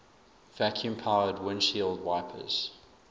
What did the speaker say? vacuum powered windshield wipers